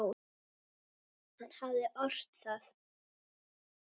Hann hafði ort það.